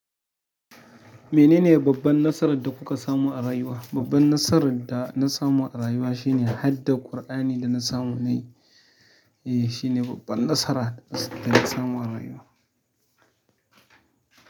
Menene babban nasarar da kuka samu a rayuwa? Babban nasarar da na samu a rayuwa shine hadda Kur'ani da na samu na yi, eh shine babban nasara da na samu a rayuwa.